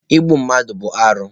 Igbu mmadụ bụ arụ.